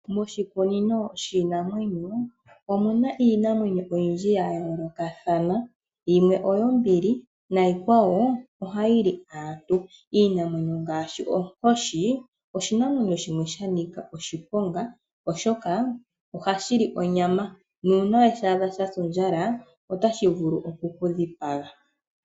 Moshikunino shiinamwenyo, omuna iinamwenyo oyindji yayoolokathana, yimwe oyo mbili nayi kwawo oha yili aantu. Iinamwenyo ngaashi onkoshi oshinamwenyo shimwe shanika oshiponga oshoka ohashili onyama, nuuna weshaadha shasa ondjala otashi vulu okukudhipaga.